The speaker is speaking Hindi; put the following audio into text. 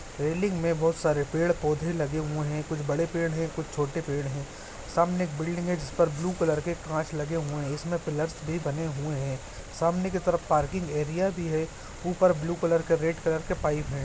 रेलिंग में बहुत सारे पेड़ पौधे लगे हुए हैं कुछ बड़े पेड़ हैं कुछ छोटे पेड़ हैं सामने एक बिल्डिंग है जिस पर ब्लू कलर के कांच लगे हुए इसमें पिलर्स भी बने हुए हैं सामने की तरफ पार्किंग एरिया भी है ऊपर ब्लू कलर के रेड कलर के पाइप हैं।